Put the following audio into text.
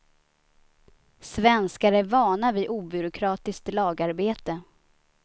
Svenskar är vana vid obyråkratiskt lagarbete.